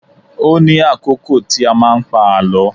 Ó ní àkókò tí a máa ń pa àlọ́